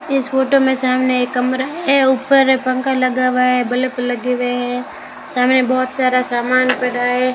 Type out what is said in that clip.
इस फोटो में सामने एक कमरा है ऊपर पंखा लगा हुआ है बल्ब लगे हुए हैं सामने बहुत सारा सामान पड़ा है।